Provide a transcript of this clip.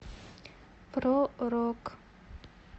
про рок